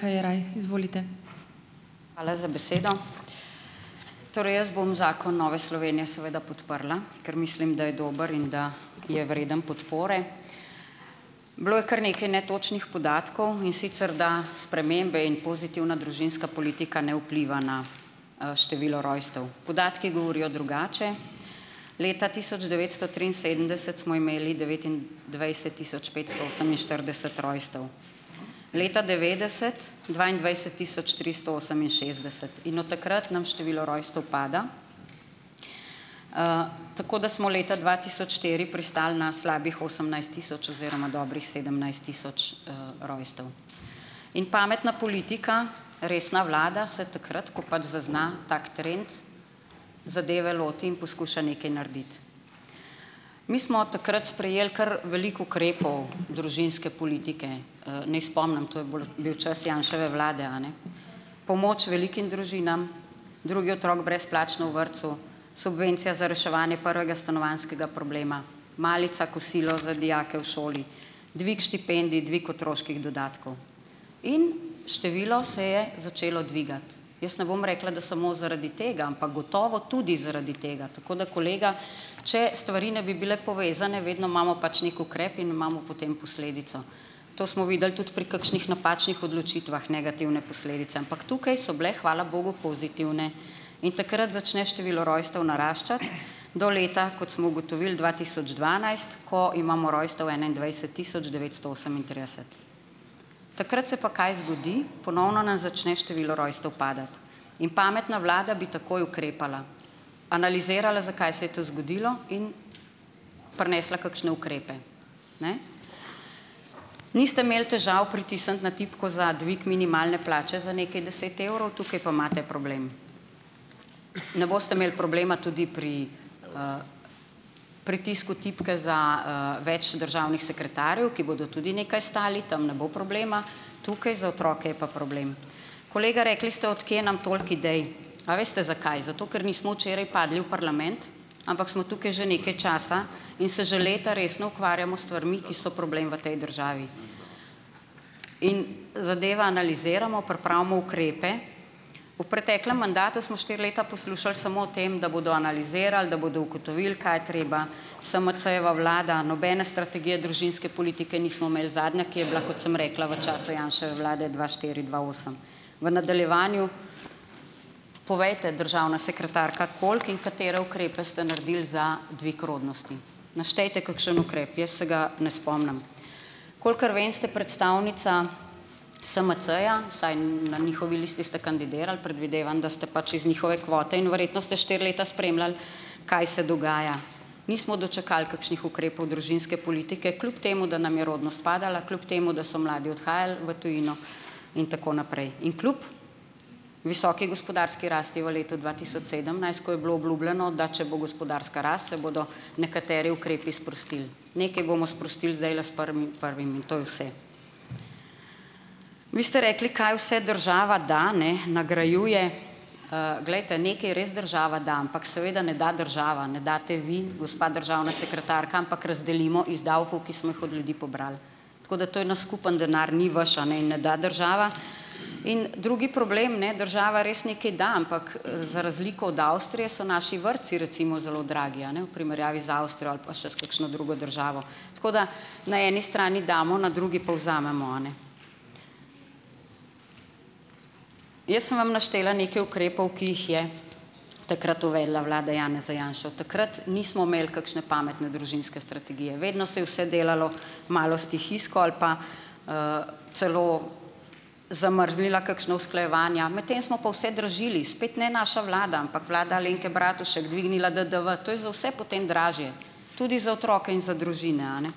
Hvala za besedo! Torej, jaz bom zakon Nove Slovenije seveda podprla, ker mislim, da je dober in da je vreden podpore. Bilo je kar nekaj netočnih podatkov, in sicer da spremembe in pozitivna družinska politika ne vpliva na, število rojstev. Podatki govorijo drugače. Leta tisoč devetsto triinsedemdeset smo imeli devetindvajset tisoč petsto oseminštirideset rojstev, leta devetdeset dvaindvajset tisoč tristo oseminšestdeset in od takrat nam število rojstev pada, tako da smo leta dva tisoč štiri pristali na slabih osemnajst tisoč oziroma dobrih sedemnajst tisoč, rojstev. In pametna politika, resna vlada, se takrat, ko pač zazna tak trend, zadeve loti in poskuša nekaj narediti. Mi smo takrat sprejeli kar veliko ukrepov družinske politike. Ne spomnim, to je bolj bil čas Janševe vlade, a ne. Pomoč velikim družinam, drugi otrok brezplačno v vrtcu, subvencija za reševanje prvega stanovanjskega problema, malica, kosilo za dijake v šoli, dvig štipendij, dvig otroških dodatkov in število se je začelo dvigati. Jaz ne bom rekla, da samo zaradi tega, ampak gotovo tudi zaradi tega, tako da, kolega, če stvari ne bi bile povezane, vedno imamo pač neki ukrep in imamo potem posledico. To smo videli tudi pri kakšnih napačnih odločitvah, negativne posledice, ampak tukaj so bile, hvala bogu, pozitivne. In takrat začne število rojstev naraščati do leta, kot smo ugotovili, dva tisoč dvanajst, ko imamo rojstev enaindvajset tisoč devetsto osemintrideset. Takrat se pa kaj zgodi? Ponovno nam začne število rojstev padati in pametna vlada bi takoj ukrepala, analizirala, zakaj se je to zgodilo in prinesla kakšne ukrepe. Niste imeli težav pritisniti na tipko za dvig minimalne plače za nekaj deset evrov, tukaj pa imate problem. Ne boste imeli problema tudi pri pritisku tipke za, več državnih sekretarjev, ki bodo tudi nekaj stali, tam ne bo problema, tukaj, za otroke, je pa problem. Kolega, rekli ste, od kje nam toliko idej? A veste, zakaj? Zato, ker nismo včeraj padli v parlament, ampak smo tukaj že nekaj časa in se že leta resno ukvarjamo s stvarmi, ki so problem v tej državi. In zadeve analiziramo, pripravimo ukrepe. V preteklem mandatu smo štiri leta poslušali samo o tem, da bodo analizirali, da bodo ugotovili, da je treba. SMC-jeva vlada, nobene strategije družinske politike nismo imeli. Zadnja, ki je bila, kot sem rekla, v času Janševe vlade dva štiri-dva osem. V nadaljevanju povejte, državna sekretarka, koliko in katere ukrepe ste naredili za dvig rodnosti? Naštejte kakšen ukrep, jaz se ga ne spomnim. Kolikor vem, ste predstavnica SMC-ja, vsaj na njihovi listi ste kandidirali, predvidevam, da ste pač iz njihove kvote in verjetno ste štiri leta spremljali, kaj se dogaja. Nismo dočakali kakšnih ukrepov družinske politike, kljub temu da nam je rodnost padala, kljub temu da so mladi odhajali v tujino in tako naprej, in kljub visoki gospodarski rasti v letu dva tisoč sedemnajst, ko je bilo obljubljeno, da če bo gospodarska rast, se bodo nekateri ukrepi sprostili. Nekaj bomo sprostili zdajle s prvim prvim, in to je vse. Vi ste rekli, kaj vse država da, ne nagrajuje, glejte, nekaj res država da, ampak seveda ne da država, ne date vi, gospa državna sekretarka, ampak razdelimo iz davkov, ki smo jih od ljudi pobrali, tako da, to je naš skupni denar, ni vaš in ne da država. In drugi problem, ne, država res nekaj da, ampak, za razliko od Avstrije, so naši vrtci recimo zelo dragi, a ne, v primerjavi z Avstrijo ali pa še s kakšno drugo državo, tako da na eni strani damo, na drugi pa vzamemo. Jaz sem vam naštela nekaj ukrepov, ki jih je takrat uvedla vlada Janeza Janše. Od takrat nismo imeli kakšne pametne družinske strategije, vedno se je vse delalo malo stihijsko ali pa celo zamrznila kakšna usklajevanja, medtem smo pa vse dražili, spet ne naša vlada, ampak vlada Alenke Bratušek, dvignila DDV, to je za vse potem dražje, tudi za otroke in za družine, a ne.